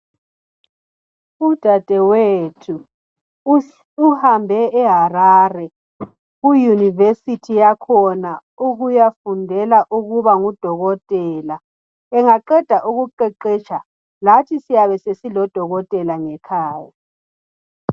Udadewethu uhambe eHarare kuyunivesithi yakhona ukuyafundela ukuba ngudokotela engaqeda ukuqeqetsha lathi siyabe sesilodokotela ngekhaya.